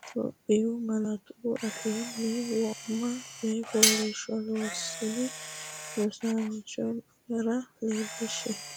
Itophiyu malaatu afiinni wo’ma coyi fooliishsho loossine rosiisaanchi’nera leellishshe.